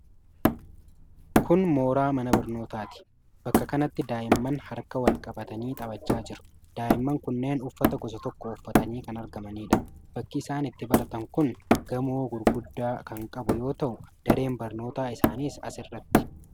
Kun mooraa mana barnootaati. Bakka kanatti daa'imman harka wal qabatanii taphachaa jiru. Daa'imman kunneen uffata gosa tokko uffatanii kan argamaniidha. Bakki isaan itti baratan kun gamoo gurguddaa kan qabu yoo ta'u, dareen barnootaa isaaniis as irrattidha.